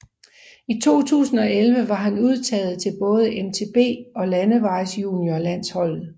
I 2011 var han udtaget til både MTB og landevejsjuniorlandsholdet